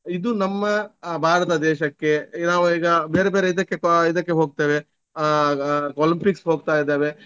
ಇದು ನಮ್ಮ ಆಹ್ ಭಾರತ ದೇಶಕ್ಕೆ ನಾವು ಈಗ ಬೇರೆ ಬೇರೆ ಇದಕ್ಕೆ ಆಹ್ ಇದಕ್ಕೆ ಹೋಗ್ತೇವೆ ಆಹ್ ಅಹ್ Olympics ಹೋಗ್ತಾಯಿದ್ದೇವೆ.